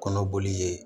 Kɔnɔboli ye